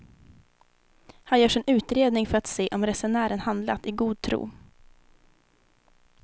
Här görs en utredning för att se om resenären handlat i god tro.